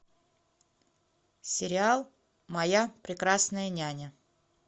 сериал моя прекрасная няня